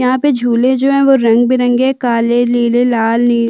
यहाँ पे झूले जो है वो रंग बिरंगे काले नीले लाल नी --